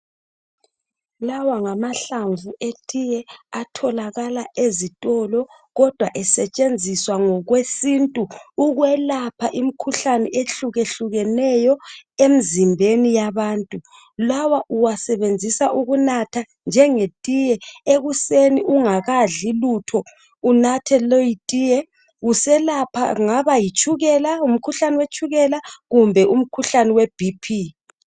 Lawa ngamahlamvu etiye atholakala ezitolo kodwa esetshenziswa ngokwesintu ukwelapha imkhuhlane ehlukehlukeneyo emzimbeni yabantu lawa uwasebenzisa ukunatha njengetiye ekuseni ungakadli lutho unathe leyitiye uselapha kungaba yitshukela umkhuhlane wetshukela kumbe umkhuhlane weBP